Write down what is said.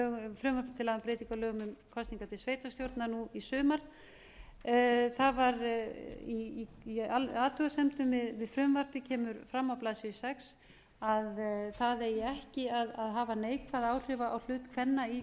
frumvarpi til laga um breytingu á lögum um kosningar til sveitarstjórna nú í sumar í athugasemdum við frumvarpið kemur fram á blaðsíðu sex að það eigi ekki að hafa neikvæð áhrif á hlut kvenna í